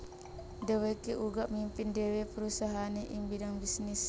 Dhèwèké uga mimpin dhéwé perusahaané ing bidang bisnis